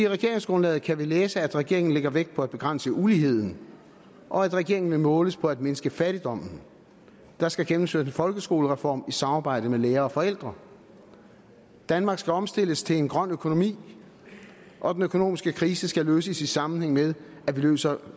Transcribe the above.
regeringsgrundlaget kan vi læse at regeringen lægger vægt på at begrænse uligheden og at regeringen vil måles på at mindske fattigdommen der skal gennemføres en folkeskolereform i samarbejde med lærere og forældre danmark skal omstilles til en grøn økonomi og den økonomiske krise skal løses i sammenhæng med at vi løser